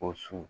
O su